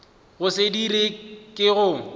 go se dira ke go